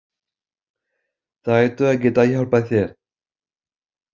Þeir ættu að geta hjálpað þér.